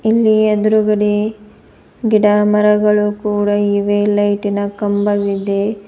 ಇಲ್ಲಿ ಎದ್ರುಗಡೆ ಗಿಡ ಮರಗಳು ಇವೆ ಲೈಟಿ ನ ಕಂಬವಿದೆ.